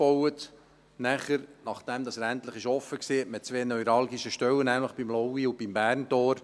Danach – nachdem dieser endlich eröffnet war – baute man an zwei neuralgischen Stellen weiter, nämlich beim Laui- und beim Berntor.